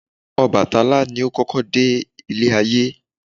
Ọbàtálá ni o kọ́kọ́ de Ilé ayé